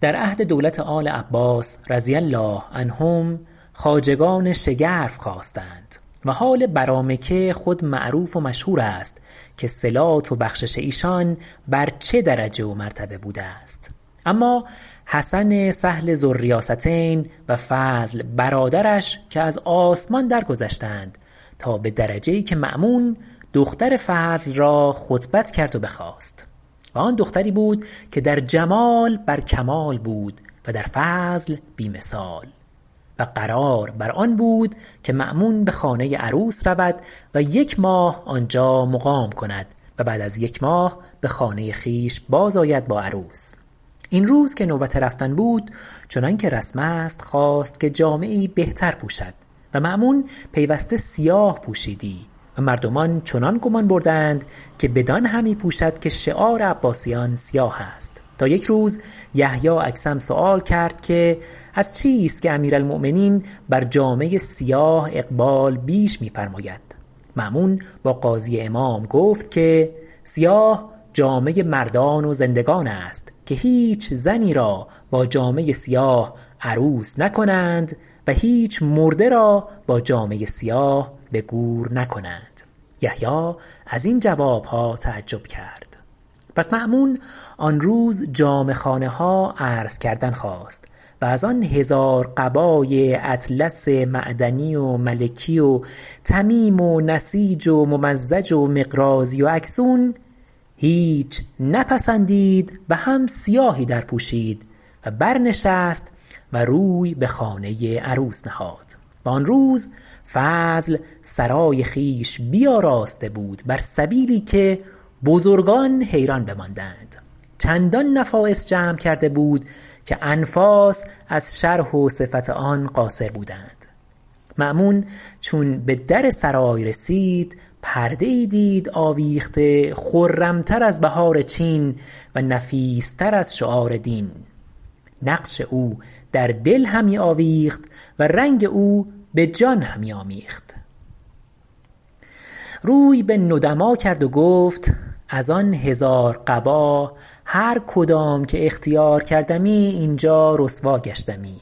در عهد دولت آل عباس رضی الله عنهم خواجگان شگرف خاستند و حال برامکه خود معروف و مشهور است که صلات و بخشش ایشان بر چه درجه و مرتبه بوده است اما حسن سهل ذوالریاستین و فضل برادرش که از آسمان درگذشتند تا به درجه ای که مأمون دختر فضل را خطبت کرد و بخواست و آن دختری بود که در جمال بر کمال بود و در فضل بی مثال و قرار بر آن بود که مأمون به خانه عروس رود و یک ماه آنجا مقام کند و بعد از یک ماه به خانه خویش باز آید با عروس این روز که نوبت رفتن بود چنان که رسم است خواست که جامه ای بهتر پوشد و مأمون پیوسته سیاه پوشیدی و مردمان چنان گمان بردند که بدان همی پوشد که شعار عباسیان سیاه است تا یک روز یحیی اکثم سؤال کرد که از چیست که امیرالمؤمنین بر جامه سیاه اقبال بیش می فرماید مأمون با قاضی امام گفت که سیاه جامه مردان و زندگان است که هیچ زنی را با جامه سیاه عروس نکنند و هیچ مرده را با جامه سیاه به گور نکنند یحیی از این جوابها تعجب کرد پس مأمون آن روز جامه خانه ها عرض کردن خواست و از آن هزار قباء اطلس معدنی و ملکی و طمیم و نسیج و ممزج و مقراضی و اکسون هیچ نپسندید و هم سیاهی درپوشید و برنشست و روی به خانه عروس نهاد و آن روز فضل سرای خویش بیاراسته بود بر سبیلی که بزرگان حیران بماندند چندان نفایس جمع کرده بود که انفاس از شرح و صفت آن قاصر بودند مأمون چون به در سرای رسید پرده ای دید آویخته خرم تر از بهار چین و نفیس تر از شعار دین نقش او در دل همی آویخت و رنگ او به جان همی آمیخت روی به ندما کرد و گفت از آن هزار قبا هر کدام که اختیار کردمی اینجا رسوا گشتمی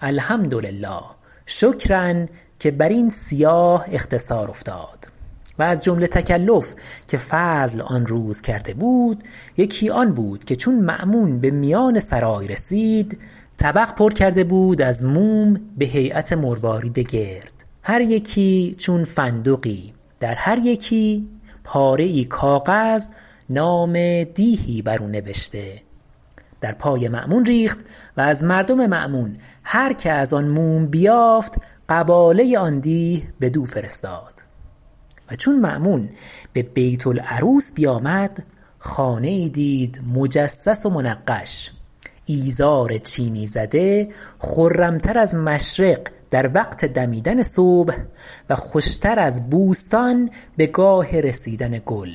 الحمدلله شکرا که بر این سیاه اختصار افتاد و از جمله تکلف که فضل آن روز کرده بود یکی آن بود که چون مأمون به میان سرای رسید طبق پر کرده بود از موم به هییت مروارید گرد هر یکی چون فندقی در هر یکی پاره ای کاغذ نام دیهی بر او نبشته در پای مأمون ریخت و از مردم مأمون هر که از آن موم بیافت قباله آن دیه بدو فرستاد و چون مأمون به بیت العروس بیامد خانه ای دید مجصص و منقش ایزار چینی زده خرم تر از مشرق در وقت دمیدن صبح و خوشتر از بوستان به گاه رسیدن گل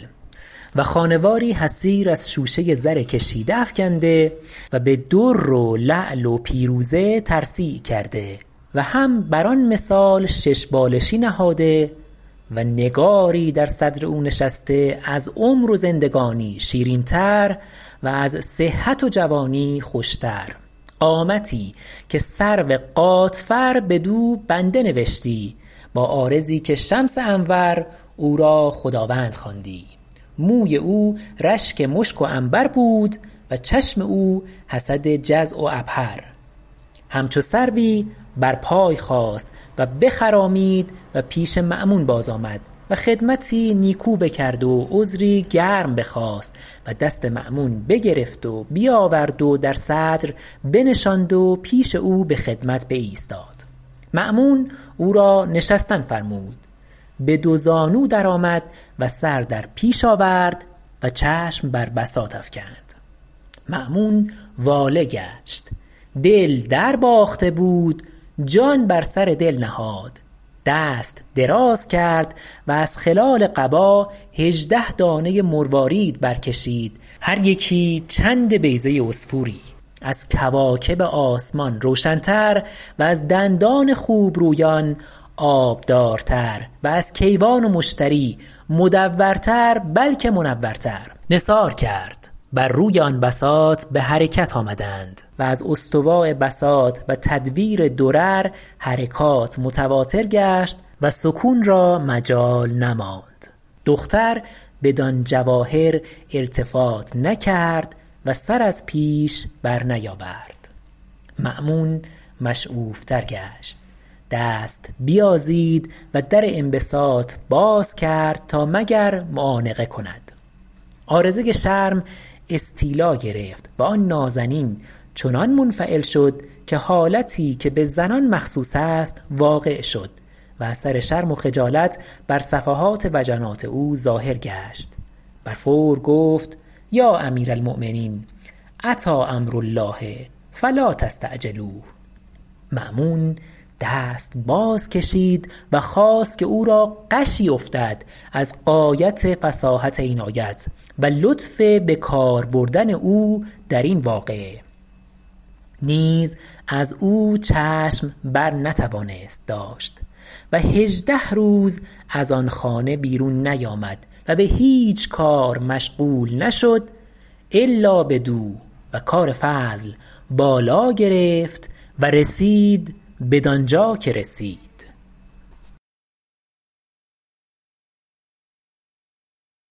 و خانه واری حصیر از شوشه زر کشیده افکنده و به در و لعل و پیروزه ترصیع کرده و هم بر آن مثال شش بالشی نهاده و نگاری در صدر او نشسته از عمر و زندگانی شیرین تر و از صحت و جوانی خوشتر قامتی که سرو غاتفر بدو بنده نوشتی با عارضی که شمس انور او را خداوند خواندی موی او رشک مشک و عنبر بود و چشم او حسد جزع و عبهر همچو سروی بر پای خاست و بخرامید و پیش مأمون باز آمد و خدمتی نیکو بکرد و عذری گرم بخواست و دست مأمون بگرفت و بیاورد و در صدر بنشاند و پیش او به خدمت بایستاد مأمون او را نشستن فرمود به دو زانو در آمد و سر در پیش آورد و چشم بر بساط افکند مأمون واله گشت دل در باخته بود جان بر سر دل نهاد دست دراز کرد و از خلال قبا هژده دانه مروارید برکشید هر یکی چند بیضه عصفوری از کواکب آسمان روشن تر و از دندان خوبرویان آبدارتر و از کیوان و مشتری مدورتر بلکه منورتر نثار کرد بر روی آن بساط به حرکت آمدند و از استواء بساط و تدویر درر حرکات متواتر گشت و سکون را مجال نماند دختر بدان جواهر التفات نکرد و سر از پیش برنیاورد مأمون مشعوف تر گشت دست بیازید و در انبساط باز کرد تا مگر معانقه کند عارضه شرم استیلا گرفت و آن نازنین چنان منفعل شد که حالتی که به زنان مخصوص است واقع شد و اثر شرم و خجالت بر صفحات وجنات او ظاهر گشت بر فور گفت یا امیرالمؤمنین اتی امر الله فلا تستعجلوه مأمون دست باز کشید و خواست که او را غشی افتد از غایت فصاحت این آیت و لطف به کار بردن او در این واقعه نیز از او چشم بر نتوانست داشت و هژده روز از آن خانه بیرون نیامد و به هیچ کار مشغول نشد الا بدو و کار فضل بالا گرفت و رسید بدانجا که رسید